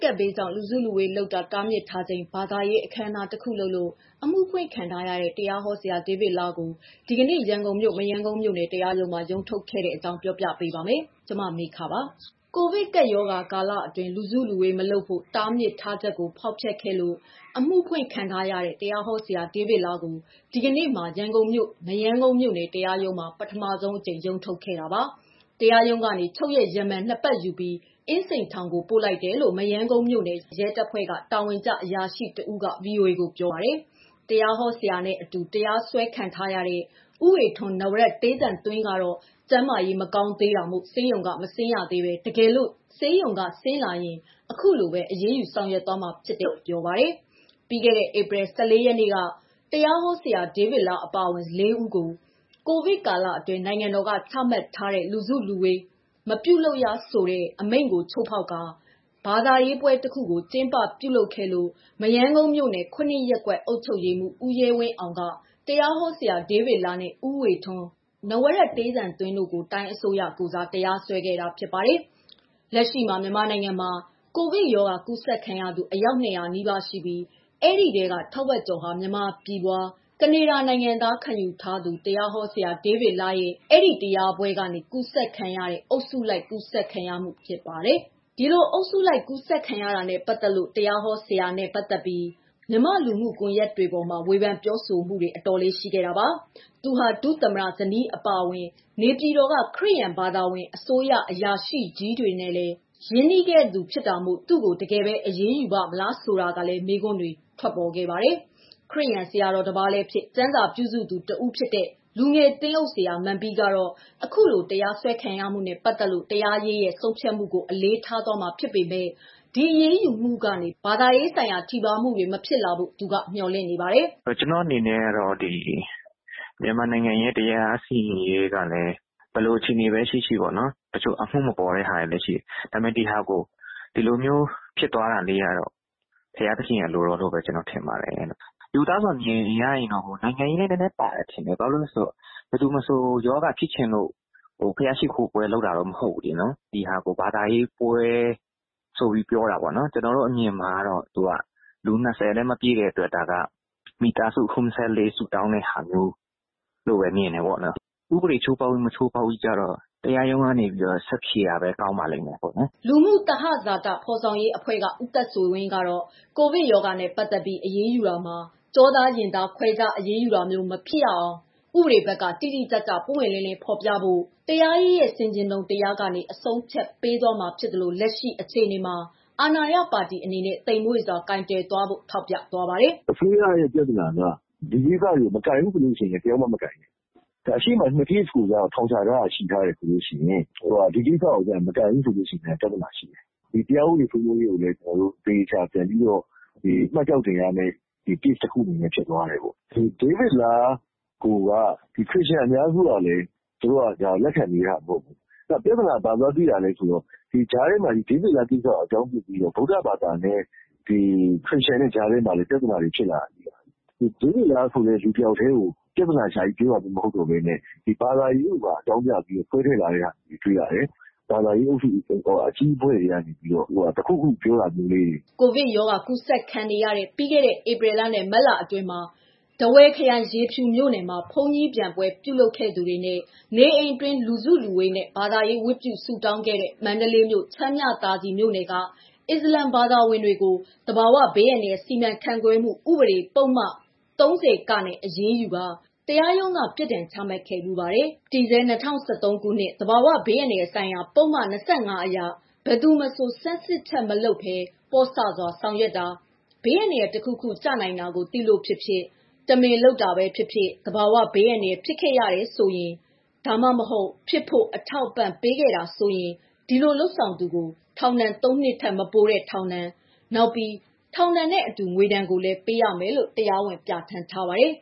ကပ်ဘေးကြောင့် လူစုလူဝေးလုပ်တာတားမြစ်ထားချိန် ဘာသာရေးအခမ်းအနား တစ်ခုလုပ်လို့ အမှုဖွင့်ခံထားရတဲ့ တရားဟောဆရာ ဒေးဗစ်လားကို ဒီနေ့မှာ ရန်ကုန်မြို့ မရမ်းကုန်းမြို့နယ် တရားရုံးမှာ ရုံးထုတ်ခဲ့တာ ပြောပြပေးပါမယ်။ ဒီအကြောင်း ဗွီအိုအေမြန်မာပိုင်းသတင်းထောက် မမေခက တင်ဆက်ပေးထားပါတယ်။ ကိုဗစ်ကပ်ရောဂါကာလအတွင်း လူစုလူဝေး မလုပ်ဖို့ တားဖြစ်ထားချက်ကို ဖောက်ဖျက်ခဲ့လို့ အမှုဖွင့်ခံထားရတဲ့ တရားဟောဆရာ ဒေးဗစ်လားကို ဒီကနေ့မှာ ရန်ကုန်မြို့ မရမ်းကုန်းမြို့နယ်တရားရုံးမှာ ပထမဆုံးအကြိမ် ရုံးထုတ်ခဲ့တာပါ။ တရားရုံးကနေ ချုပ်ရက် ရမန် ၂ ပတ် ယူပြီး အင်းစိန်ထောင်ကို ပို့လိုက်တယ်လို့ မရမ်းကုန်းမြို့နယ် ရဲတပ်ဖွဲ့မှ တာဝန်ကျ အရာရှိ တဦးက ဗွီအိုအေကိုပြောပါတယ်။တရားဟောဆရာနဲ့ အတူ တရားစွဲခံထားရတဲ့ ဦးဝေထွန်း ကတော့ ကျန်းမာရေး မကောင်းသေးတာမို့ ဆေးရုံက မဆင်းရသေးဘဲ တကယ်လို့ ဆေးရုံက ဆင်းလာရင် အခုလိုပဲ အရေးယူသွားမှာလို့ ပြော ပါတယ်။ ပြီးခဲ့တဲ့ ဧပြီ ၁၄ ရက်က တရားဟောဆရာ ဒေးဗစ်လားအပါအဝင် ၄ ဦးကို COVID ကာလအတွင်း နိုင်ငံတော်က ချမှတ်ထားတဲ့ လူစုလူဝေး မပြုလုပ်ရဆိုတဲ့ အမိန့်ကို ချိုးဖောက်ခါ ဘာသာရေးပွဲတစ်ခုကိုကျင်းပပြုလုပ်ခဲ့လို့ မရမ်းကုန်းမြို့နယ် ရပ်ကွက်အုပ်ချုပ်ရေးမှူး ဦးရဲဝင်းအောင်က တရားဟောဆရာဒေးဗစ်လား နဲ့ ဦးဝေထွန်း တို့ကို တိုင်းအစိုးရ ကိုယ်စား တရားစွဲခဲ့ပါတယ်။ လက်ရှိမှာ မြန်မာနိုင်ငံမှာ ကိုဗစ် ရောဂါကူးစက်ခံရသူ အယောက် ၂၀၀ နီးပါးရှိနေပြီး အဲဒီထဲက ထက်ဝက်ကျော်ဟာ မြန်မာပြည်ဖွား ကနေဒါနိုင်ငံသား ခံယူထားသူ တရားဟောဆရာ ဒေးဗစ်လားရဲ့ ဒီတရားပွဲကျင်းပရာကနေ ကူးစက်ခံရတဲ့ အုပ်စုလိုက်ကူးစက်မှု ဖြစ်ပါတယ်။ ဒီလို အုပ်စုလိုက်ကူးစက်ခံရတာနဲ့ ပတ်သတ်လို့ တရားဟောဆရာနဲ့ ပတ်သတ်ပြီး မြန်မာလူမှုကွန်ယက်တွေပေါ်မှာ ဝေဖန်ပြောဆိုမှုတွေ အတော်လေး ရှိခဲ့တာပါ။ သူဟာ ဒုသမ္မတ ဇနီးအပါအဝင် နေပြည်တော်က ခရစ်ယာန်ဘာသာဝင် အစိုးရအရာရှိကြီးတွေနဲ့လည်း ရင်းနှီးသူဖြစ်တာမို့ သူ့ကို တကယ်ပဲ အရေးယူပါ့မလားဆိုတာလည်း မေးခွန်းတွေဖြစ်ခဲ့ပါတယ်။ ခရစ်ယာန် ဆရာတော်တပါးလည်းဖြစ် ကျမ်းစာပြုစုသူ တဦးဖြစ်တဲ့ လူငယ်သင်းအုပ် ဆရာမန်ပီးကတော့ အခုလို တရားစွဲခံရမှုနဲ့ ပတ်သတ်လို့ တရားရေးရဲ့ ဆုံးဖြတ်မှုကို အလေးထား သွားမှာဖြစ်ပေမယ့် လတ်တလော ဒီအရေးယူမှုကနေ ဘာသာရေးဆိုင်ရာထိပါးမှုတွေ မဖြစ်လာဖို့ သူကမျှော်လင့်နေပါတယ်။ "ကျနော်အနေနဲ့ မြန်မာတရားစီရင်ရေးက ဘယ်လိုပဲ ရှိရှိ။ တချို့က အမှုမပေါ်တာဖြစ်တာလည်းရှိတယ်။ ဒီလို ဖြစ်တာကတော့ ဘုရားသခင်အလိုတော်အတိုင်းပါပဲ။ ရိုးသားစွာမြင်တာကတော့ ဒါကနိုင်ငံရေးနွယ်မယ် ထင်တယ်။ ဘယ်သူမဆိုရောဂါဖြစ်ချင်လို့တော့ ဘုရားရှိခိုးပွဲ လုပ်တာမဟုတ်ဘူး။ နောက်လူ ၂၀ ပဲဆိုတာက ဒါက ပွဲမဟုတ်ဘူး။ ဘာသာရေးဆိုင်ရာ မိသားစုဆုတောင်းပွဲ သတ်သတ်ပဲ ဖြစ်တယ်။ ဥပဒေချိုးဖောက်တာ၊ မဖောက်တာကတော့ တရားရုံးက ဆက်ဖြေတာပဲ ကောင်းပါလိမ့်မယ်။" လူမှုသဟဇာတ ဖော်ဆောင်ရေးအဖွဲ့မှ ဦးသက်ဆွေဝင်းကတော့ ကိုဗစ် ရောဂါနဲ့ ပတ်သတ်ပြီး အရေးယူတာမှာ ကျောသားရင်သား ခွဲခြားအရေးယူတာမျိုး မဖြစ်စေရအောင် ဥပဒေဘက်က တိတိကျကျ ပွင့်ပွင့်လင်းလင်းဖော်ပြနိုင်ဖို့ က တရားရေးရဲ့ဆင်ခြင်တုံတရားကနေ အဆုံးအဖြတ်ပေးသွားမှာ ဖြစ်သလို လက်ရှိ အခြေအနေမှာ အာဏာရပါတီအနေနဲ့ သိမ့်မွေ့စွာ ကိုင်တွယ်တတ်ဖို့ ထောက်ပြသွားပါတယ်။ "အစိုးရပြဿနာက မကိုင်ဘူးဆိုရင် ဒီလိုဟာတွေကိုပါမကိုင်နဲ့။ အရှေ့မှာ ကေစ် ၂ခုကိုထောင်ချထားတယ်။ ဒီကိစ္စကို မကိုင်ရင်လည်း ပြဿနာရှိတယ်။ ဘယ်လိုကိုင်ရမလဲ ဆိုတာ ကွန်ထရိုဗာရှယ် တခုဖြစ်သွားတယ်။ တရားဥပဒေကို မှတ်ကျောက်တင်ရမယ့် case ဖြစ်သွားမယ်။ ဒေးဗစ်လားကိုက ခရစ်ယာန် အများစုက လက်မခံဘူး၊ ပြဿနာဘာတွေ့လဲ ဆို ဒီကြားထဲ ဗုဒဘာသာနဲ့ ခရစ်ယာန်ကြား ပြဿနာဖြစ်လာတယ်။ ဒေးဗစ်လားကိုဘဲ ဦးတည်ပြောတာ မဟုတ်တော့ဘဲ ဘာသာရေးကို ပါလာတယ်။ ဘာသာရေးပဋိပကဖြစ်ဖို့ အလားအလာများလာတယ်။ ဘာသာရေးအဖွဲ့ အကြီးအကဲတွေက ဝင်ထိန်းဖို့ လိုမယ်ထင်တယ်။" ကိုဗစ် ရောဂါကူးစက်ခံနေရတဲ့ ပြီးခဲ့တဲ့ ဧပြီလနဲ့ မတ်လ အတွင်းမှာ ထားဝယ်ခရိုင် ရေဖြူမြို့နယ် မှာ ဘုန်းကြီးပျံပွဲလုပ်ခဲ့သူ တွေနဲ့ နေအိမ်အတွင်း လူစုလူဝေးနဲ့ ဘာသာရေးဝတ်ပြုဆုတောင်းခဲ့တဲ့ မန္တလေးမြို့၊ ချမ်းမြသာစည်မြို့နယ်က အစ္စလမ်ဘာသာဝင်တို့ကို သဘာဝဘေးအန္တရာယ်စီမံခန့်ခွဲမှု ဥပေဒ ပုဒ်မ ၃၀ နဲ့ အရေးယူကာ တရားရုံးက ထောင်ဒဏ်ပြစ်ဒဏ် ချမှတ်ခဲ့ဖူးပါတယ်။ တည်ဆဲ ၂၀၁၃ ခုနှစ် သဘာဝဘေးအန္တရာယ်ဆိုင်ရာ ပုဒ်မ ၂၅ အရ ဘယ်သူမဆို ဆန်းစစ်ချက်မပြုလုပ်ဘဲနဲ့ ပေါ့ဆစွာ ဆောင်ရွက်တာ၊ ဘေးအန္တရာယ် တခုခု ကျနိုင်တာကို သိလို့ ဖြစ်စေ တမင်လုပ်လို့ဖြစ်စေ သဘာဝဘေးအန္တရာယ်ဖြစ်ခဲ့ရတာ ဒါမှမဟုတ်ဖြစ်ဖို့ အထောက်အပံ့ပေးတာဖြစ်ခဲ့တယ်ဆို ဒီလိုလုပ်ဆောင် သူကိုထောင်ဒဏ် ၃ နှစ်ထက် မပိုတဲ့ ထောင်ဒဏ်၊ နောက်ပြီး ထောင်ဒဏ်နဲ့အတူ ငွေဒဏ်ကိုလည်း ပေးနိုင်တယ်လို့ ပြဌာန်းထားပါတယ်